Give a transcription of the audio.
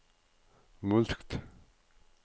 mulkt